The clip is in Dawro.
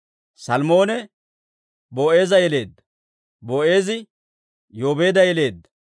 Salmoone Boo'eeza yeleedda; Boo'eezi Yoobeeda yeleedda;